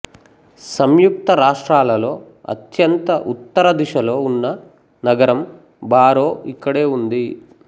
సంయుక్తరాష్ట్రాలలో అత్యంత ఉత్తరదిశలో ఉన్న నగరం బారో ఇక్కడే ఉంది